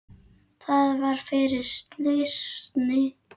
Það var fyrir slysni.